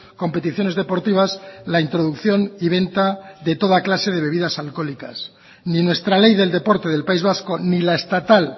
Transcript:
competiciones deportivas la introducción y venta de toda clase de bebidas alcohólicas ni nuestra ley del deporte del país vasco ni la estatal